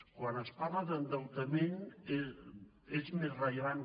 quan es parla d’endeutament és més rellevant